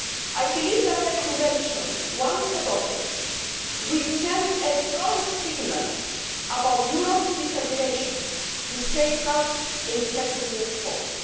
I believe that the Convention, once adopted, will send a strong signal on Europe's determination to safeguard the integrity of sport.